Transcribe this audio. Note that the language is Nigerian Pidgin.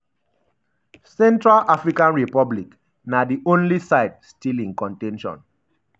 central african republic na di only side still in con ten tion